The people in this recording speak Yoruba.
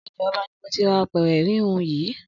Ọjà ọba ni mo ti ra apẹ̀rẹ̀ híhun yìí